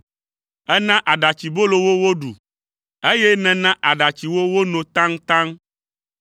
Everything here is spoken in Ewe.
Èna aɖatsibolo wo woɖu, eye nèna aɖatsi wo wono taŋtaŋ.